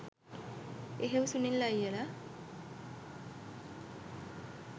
එහෙව් සුනිල් අයියල